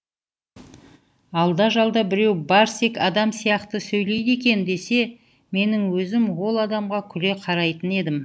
алда жалда біреу барсик адам сияқты сөйлейді екен десе менің өзім ол адамға күле қарайтын едім